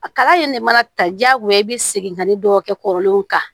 A kala in de mana ta diyagoya i bɛ segin ka ni dɔw kɛ kɔrɔlenw kan